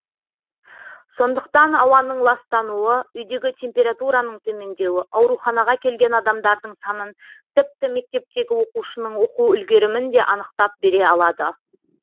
сондықтан ауаның ластануы үйдегі температураның төмендеуі ауруханаға келген адамдардың санын тіпті мектептегі оқушының оқу үлгерімін де анықтап бере алады